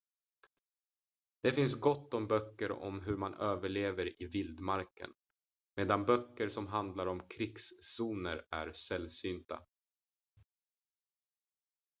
det finns gott om böcker om hur man överlever i vildmarken medan böcker som handlar om krigszoner är sällsynta